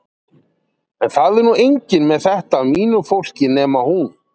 En það er nú enginn með þetta af mínu fólki nema hún.